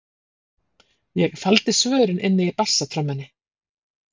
Ég faldi svörin inni í bassatrommunni.